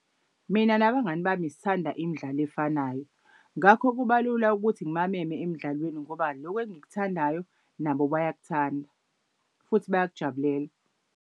Mina nabangani bami sithanda imidlalo efanayo, ngakho kubalula ukuthi ngibameme emdlalweni ngoba lokhu engikuthandayo nabo bayakuthanda futhi bayakujabulela.